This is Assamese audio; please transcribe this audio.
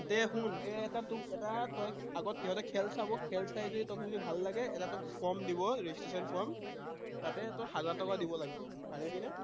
তই এটা তোক এটা আগত সিহঁতে খেল চাব, খেল চাই যদি তোক ভাল লাগে এটা তোক form দিব, registration form তাতে তই হাজাৰ টকা দিব লাগিব, পাৰিবিনে?